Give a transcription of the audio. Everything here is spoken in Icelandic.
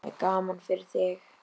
Það er gaman fyrir þig.